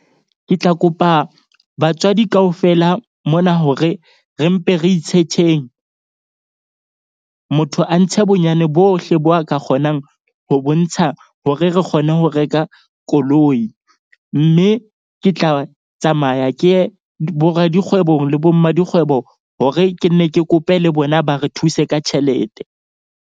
Ke tla kopa batswadi kaofela mona hore re mpe re itshetjheng. Motho a ntshe bonyane bohle bo a ka kgonang ho bontsha hore re kgone ho reka koloi. Mme ke tla tsamaya. Ke ye bo radikgwebong le bo mma dikgwebo, hore ke nne ke kope le bona ba re thuse ka tjhelete.